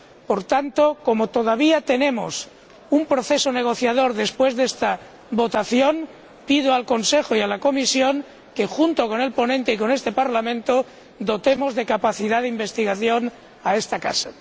Por tanto, como todavía tenemos ante nosotros un proceso negociador después de esta votación, pido al Consejo y a la Comisión que, junto con el ponente y con este Parlamento, dotemos de capacidad de investigación a esta Casa.